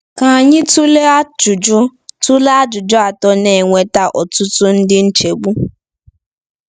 Ka anyị tụlee ajụjụ tụlee ajụjụ atọ na-eweta ọtụtụ ndị nchegbu.